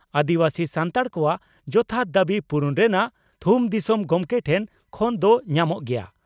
ᱟᱹᱫᱤᱵᱟᱹᱥᱤ ᱥᱟᱱᱛᱟᱲ ᱠᱚᱣᱟᱜ ᱡᱚᱛᱷᱟᱛ ᱫᱟᱹᱵᱤ ᱯᱩᱨᱩᱱ ᱨᱮᱱᱟᱜ ᱛᱷᱩᱢ ᱫᱤᱥᱚᱢ ᱜᱚᱢᱠᱮ ᱴᱷᱮᱱ ᱠᱷᱚᱱ ᱫᱚ ᱧᱟᱢᱚᱜ ᱜᱮᱭᱟ ᱾